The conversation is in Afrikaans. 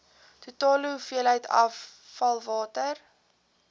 totale hoeveelheid afvalwater